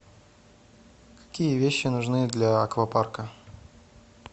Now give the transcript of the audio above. какие вещи нужны для аквапарка